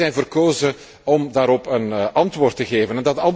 wij zijn verkozen om daarop een antwoord te geven.